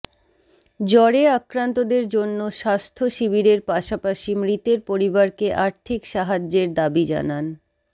জ্বরে আক্রান্তদের জন্য স্বাস্থ্য শিবিরের পাশাপাশি মৃতের পরিবারকে আর্থিক সাহায্যের দাবি জানান